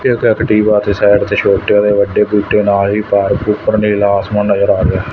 ਤੇ ਇੱਕ ਐਕਟਿਵਾ ਤੇ ਸਾਈਡ ਤੇ ਛੋਟੇ ਅਤੇ ਵੱਡੇ ਬੂਟੇ ਨਾਲ ਵੀ ਪਾਰਕ ਉੱਪਰ ਨੀਲਾ ਆਸਮਾਨ ਨਜ਼ਰ ਆ ਰਿਹਾ ਹੈ।